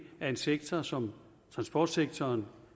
at en sektor som transportsektoren